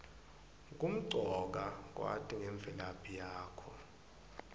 kumcoka kwati ngemvelaphi yakho